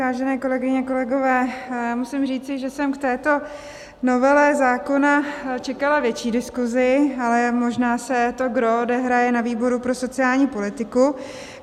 Vážené kolegyně, kolegové, musím říci, že jsem k této novele zákona čekala větší diskuzi, ale možná se to gros odehraje na výboru pro sociální politiku.